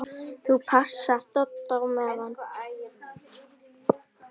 ÞÚ PASSAR DODDA Á MEÐAN!